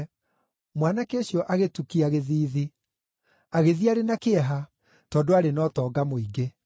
Mwanake ũcio agĩtukia gĩthiithi. Agĩthiĩ arĩ na kĩeha, tondũ aarĩ na ũtonga mũingĩ.